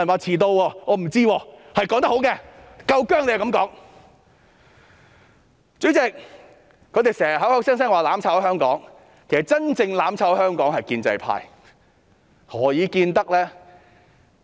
主席，他們經常口口聲聲說我們"攬炒"香港，其實真正"攬炒"香港的是建制派，何以見得呢？